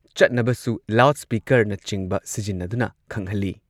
ꯆꯠꯅꯕꯁꯨ ꯂꯥꯎꯗ ꯁ꯭ꯄꯤꯀꯔꯅꯆꯤꯡꯕ ꯁꯤꯖꯤꯟꯅꯗꯨꯅ ꯈꯪꯍꯜꯂꯤ꯫